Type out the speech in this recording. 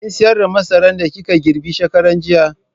Kin sayar da masaran da kika girbe shekaran jiya?